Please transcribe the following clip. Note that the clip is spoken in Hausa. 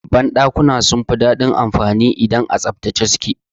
Ban dakuna sun fi dadin anfani idan a tsaftace suke.